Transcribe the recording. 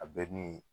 A bɛ ni